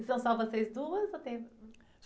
E são só vocês duas? Ou tem...